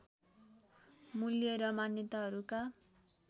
मूल्य र मान्यताहरूका